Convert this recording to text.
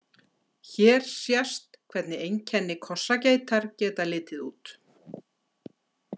Hér sést hvernig einkenni kossageitar geta litið út.